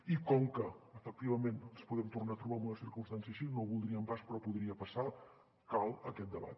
i com que efectivament ens podem tornar a trobar en una circumstància així no ho voldríem pas però podria passar cal aquest debat